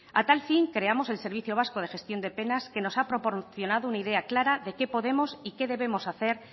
a tal fin creamos el servicio vasco de gestión de penas que nos ha proporcionado una idea clara de qué podemos y qué debemos hacer